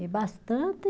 E bastante.